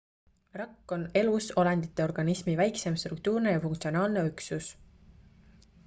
rakk on elusolendite organismi väikseim struktuurne ja funktsionaalne üksus